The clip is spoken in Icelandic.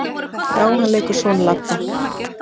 Já, hann leikur son Ladda.